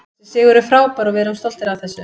Þessi sigur er frábær og við erum stoltir af þessu.